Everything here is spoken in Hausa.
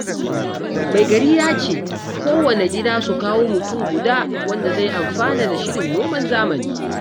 Mai gari ya ce, kowanne gida su kawo mutum guda wanda zai amfana da shirin noman zamani